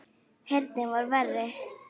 Heyrnin var verri.